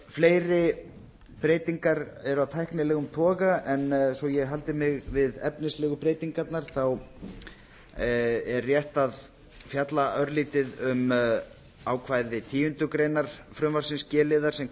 fleiri breytingar eru af tæknilegum toga en svo ég haldi mig við efnislegu breytingarnar er rétt að fjalla örlítið um ákvæði tíundu greinar frumvarpsins g liðar sem